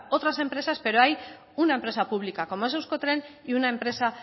otras empresas pero hay una empresa pública como es euskotren y una empresa